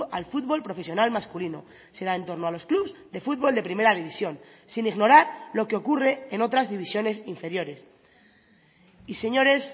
al fútbol profesional masculino se da en torno a los clubs de fútbol de primera división sin ignorar lo que ocurre en otras divisiones inferiores y señores